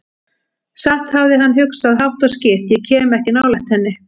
Samt hafði hann hugsað, hátt og skýrt: Ég kem ekki nálægt henni.